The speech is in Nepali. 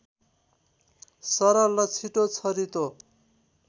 सरल र छिटो छरितो